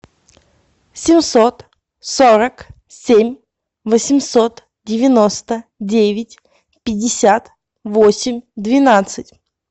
семьсот сорок семь восемьсот девяносто девять пятьдесят восемь двенадцать